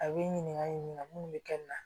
A bɛ ɲininkali in na munnu bɛ kɛ nin na